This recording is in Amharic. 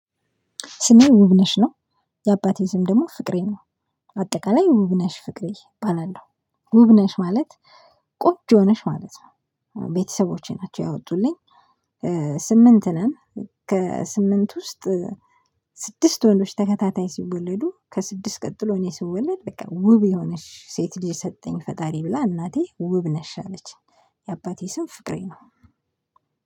ስሜ ውብነሽ ነው። የአባቴ ስም ደግሞ ፍቅሬ ነው። አጠቃላይ ውብነሽ ፍቅሬ እባላለሁ። ውብ ነሽ ማለት ቆንጆ ነሽ ማለት ነው። ቤተሰቦቼ ናቸው ያወጡልኝ። ስምንት ነን። ከስምንት ውስጥ ስድስት ወንዶች ተከታታይ ሲወለዱ ከስድስት ቀጥሎ እኔ ስወለድ በቃ ውብ የሆነች ሴት ልጅ ሰጠኝ ፈጣሪ ብላ እናቴ ውብነሽ አለችኝ የአባቴ ስም ፍቅሬ ነው።